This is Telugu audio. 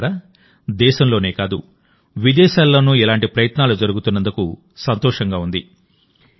మిత్రులారా దేశంలోనే కాదువిదేశాల్లోనూ ఇలాంటి ప్రయత్నాలు జరుగుతున్నందుకు సంతోషంగా ఉంది